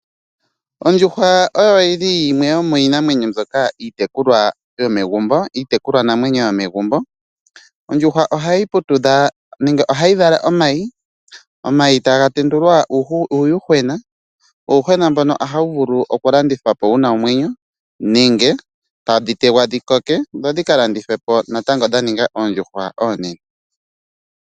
Ondjuhwa oyo yili yimwe yomiinamwenyo mboka iitekulwa yomegumbo, iitekulwa namwenyo yomegumbo. Ondjuhwa ohayi putudha nenge ohayi vala omayi ,omayi taga tendulwa uuyuhwena, uuyuhwena mboka otawu vulu oku landithwapo wuna omwenyo nenge tadhi tegwa dhikoke dho dhika landithwepo dha ninga oondjuhwa oonene.